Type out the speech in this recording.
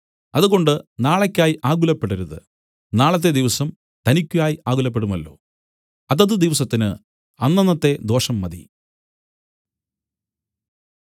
അതുകൊണ്ട് നാളെയ്ക്കായി ആകുലപ്പെടരുത് നാളത്തെ ദിവസം തനിക്കായി ആകുലപ്പെടുമല്ലോ അതത് ദിവസത്തിന് അന്നന്നത്തെ ദോഷം മതി